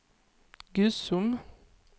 Gusum